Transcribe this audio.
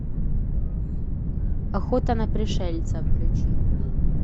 охота на пришельцев включи